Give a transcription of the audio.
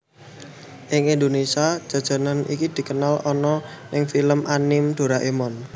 Ing Indonésia jajanan iki dikenal ana ing film anime Doraemon